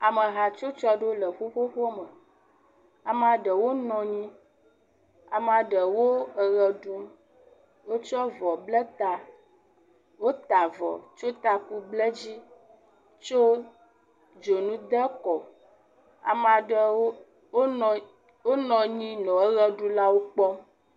Ame hatsotso ɖewo le ƒuƒoƒo aɖewo me, amea ɖewo nɔ anyi, amea ɖewo le ʋe ɖum, wotsɔ avɔ bla ta, wota avɔ, tsɔ taku ble dzi tsɔ dzonu de kɔ, amea ɖewo nɔ anyi henɔ ʋeɖulawo kpɔm.